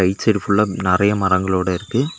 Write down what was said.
Beach side ஃபுல்லா நெறைய மரங்களோட இருக்கு.